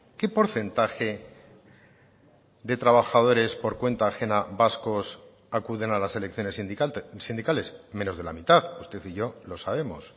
qué porcentaje de trabajadores por cuenta ajena vascos acuden a las elecciones sindicales menos de la mitad usted y yo lo sabemos